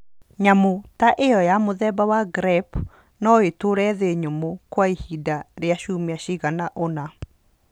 Nyamũ ta ĩyo ya mũthemba wa grep no ĩtũũre thĩ nyũmũ kwa ihinda rĩa ciumia cigana ũna.